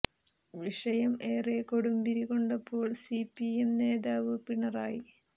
വിഷയം ഏറെ കൊടുമ്പിരി കൊണ്ടപ്പോൾ സി പി എം നേതാവ് പിണറായി